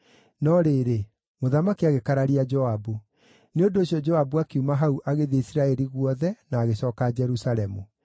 No rĩrĩ, mũthamaki agĩkararia Joabu; nĩ ũndũ ũcio Joabu akiuma hau agĩthiĩ Isiraeli guothe, na agĩcooka Jerusalemu.